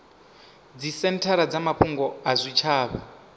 dzisenthara dza mafhungo a zwitshavha